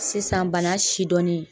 Sisan bana sidɔnnen